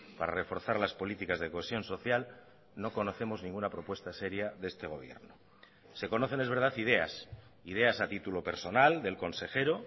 para reforzar las políticas de cohesión social no conocemos ninguna propuesta sería de este gobierno se conocen es verdad ideas ideas a título personal del consejero